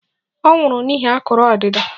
Ọ nwụrụ n'ihi akụrụ ọdịda